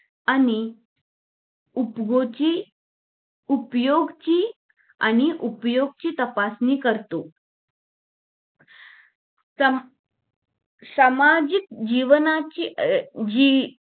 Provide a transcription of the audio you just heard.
आणि उपयोजि उपयोगीची आणि उपयोगाची तपासणी करतो सं सामाजिक जीवांची अं जी